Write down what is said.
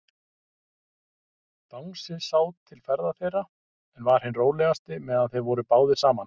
Bangsi sá til ferða þeirra, en var hinn rólegasti, meðan þeir voru báðir saman.